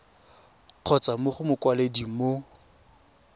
kgotsa mo go mokwaledi mo